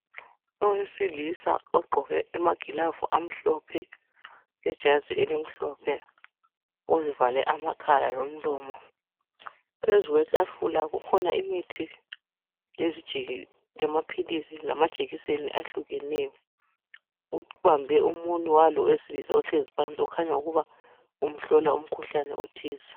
Owesilisa ogqoke amagilavu amhlophe lejazi elimhlophe. Uzivale amakhala lomlomo. Phezulu kwetafula kukhona imithi , lamaphilisi lamajekiseni ahlukeneyo. Ubambe umunwe walo owesilisa ohlezi phansi okhanya ukuba umhlola umkhuhlane othize.